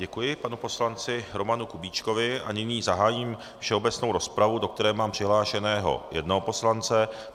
Děkuji panu poslanci Romanu Kubíčkovi a nyní zahájím všeobecnou rozpravu, do které mám přihlášeného jednoho poslance.